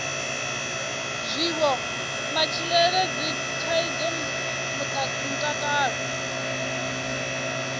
zwiwo matshilele dzithaidzo mutakalo